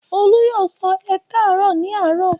Olú yóò sọ "ẹ káàárọ̀" ní àárọ̀?